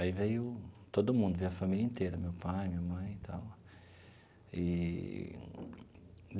Aí veio todo mundo, veio a família inteira, meu pai, minha mãe e tal eee.